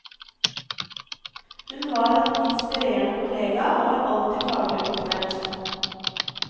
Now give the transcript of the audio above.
Hun var en inspirerende kollega og var alltid faglig oppdatert.